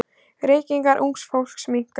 Reykingar ungs fólks minnka.